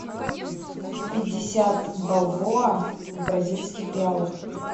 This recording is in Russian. пятьдесят бальбоа в бразильских реалах